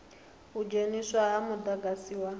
u dzheniswa ha mudagasi wa